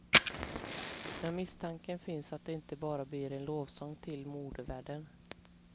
Men misstanken finns att det inte bara blir en lovsång till modevärlden.